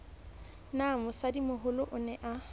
na mosadimoholo o ne a